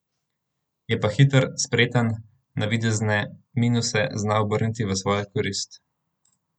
Je pa hiter, spreten, navidezne minuse zna obrniti v svojo korist.